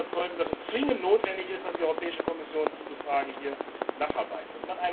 Wir sind der Überzeugung, dass es zwingend notwendig ist, dass die Europäische Kommission in dieser Frage nacharbeitet.